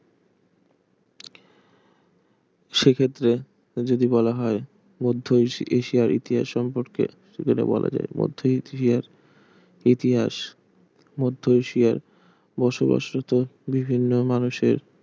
সেক্ষেত্রে যদি বলা হয় মধ্য ~ এশিয়ার ইতিহাস সম্পর্কে যেটা বলা যায় মধ্য এশিয়ার ইতিহাস মধ্য এশিয়ায় বসবাসত বিভিন্ন মানুষের